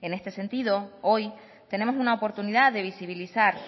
en este sentido hoy tenemos una oportunidad de visibilizar